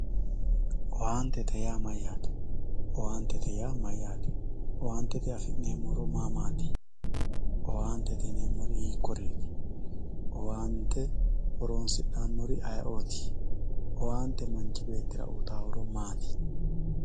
owaantete yaa mayaate owaantete yaa mayaate owaantete afi'neemo horo maamaati owantete yineemori hikuriiti awante horonsidhanori ayii"ooti owaante manchi beettira uyiitayo horo maati